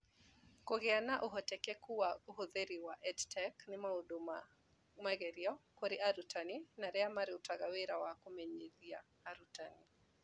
Kũgĩa na, ũhotekeku wa, na ũhũthĩri wa EdTech nĩ maũndũ ma magerio kũrĩ arutani na arĩa marutaga wĩra wa kũmenyeria arutani.